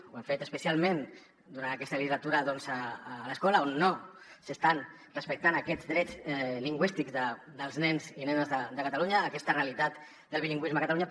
ho hem fet especialment durant aquesta legislatura a l’escola on no s’estan respectant aquests drets lingüístics dels nens i nenes de catalunya aquesta realitat del bilingüisme a catalunya